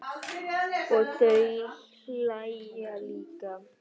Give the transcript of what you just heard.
Og þau hlæja líka.